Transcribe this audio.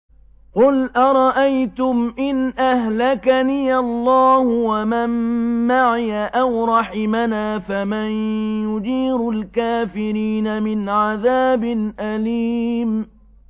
قُلْ أَرَأَيْتُمْ إِنْ أَهْلَكَنِيَ اللَّهُ وَمَن مَّعِيَ أَوْ رَحِمَنَا فَمَن يُجِيرُ الْكَافِرِينَ مِنْ عَذَابٍ أَلِيمٍ